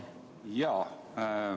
Jaa.